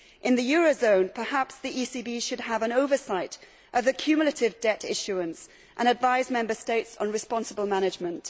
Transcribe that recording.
In the eurozone, perhaps the ECB should have an oversight of accumulative debt issuance and advise Member States on responsible management.